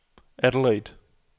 Adelaide